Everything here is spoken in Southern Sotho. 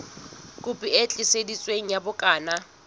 kopi e tiiseditsweng ya bukana